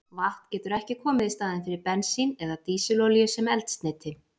Vatn getur ekki komið í staðinn fyrir bensín eða dísilolíu sem eldsneyti.